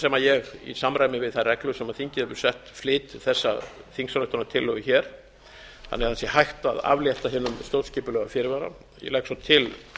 sem ég í samræmi við þær reglur sem þingið hefur sett flyt þessa þingsályktunartillögu þannig að það sé hægt að aflétta hinum stjórnskipulega fyrirvara ég legg svo til frú